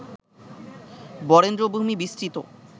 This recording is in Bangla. বরেন্দ্রভূমি বিস্তৃত